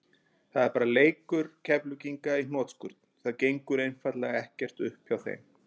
Þetta er bara leikur Keflvíkinga í hnotskurn, það gengur einfaldlega ekkert upp hjá þeim.